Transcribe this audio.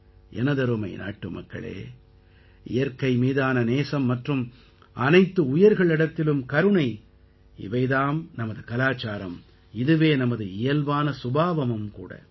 எனதருமை நாட்டுமக்களே இயற்கை மீதான நேசம் மற்றும் அனைத்து உயிர்களிடத்திலும் கருணை இவை தாம் நமது கலாச்சாரம் இதுவே நமது இயல்பான சுபாவமும் கூட